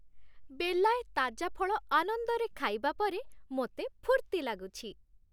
ବେଲାଏ ତାଜା ଫଳ ଆନନ୍ଦରେ ଖାଇବା ପରେ ମୋତେ ଫୁର୍ତ୍ତି ଲାଗୁଛି ।